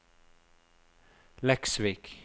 Leksvik